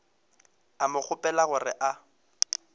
a mo kgopela gore a